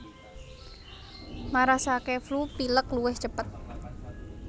Marasake flu pilek luwih cepet